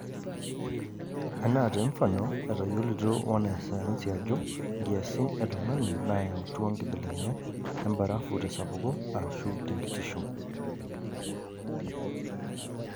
Anaa temfano etayiolito wanasayansi ajo nkiasin e tunganinayautua nkibelekenyat embarafu tesapuko aashu tenkintisho.